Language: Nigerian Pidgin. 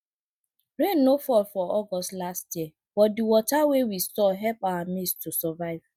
rain no fall for august last year but the water wey we store help our maize to survive